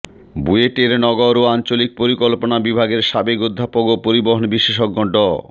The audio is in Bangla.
বুয়েটের নগর ও আঞ্চলিক পরিকল্পনা বিভাগের সাবেক অধ্যাপক ও পরিবহন বিশেষজ্ঞ ড